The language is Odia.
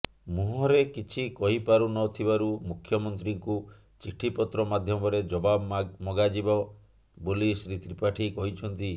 ମୁହଁରେ କିଛି କହିପାରୁନଥିବାରୁ ମୁଖ୍ୟମନ୍ତ୍ରୀଙ୍କୁ ଚିଠିପତ୍ର ମାଧ୍ୟମରେ ଜବାବ ମଗାଯିବ ବୋଲି ଶ୍ରୀ ତ୍ରିପାଠୀ କହିଛନ୍ତି